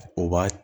O b'a